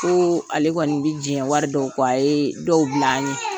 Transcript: Ko ale kɔnni bi jɛn wari dɔw kɔ, a ye dɔw bila an ye.